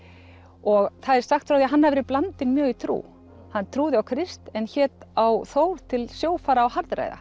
og það er sagt frá því að hann hafi verið blandinn mjög í trú hann trúði á Krist en hét á Þór til sjófara og